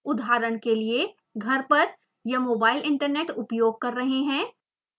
उदाहरण के लिए घर पर या मोबाइल इन्टरनेट उपयोग कर रहे हैं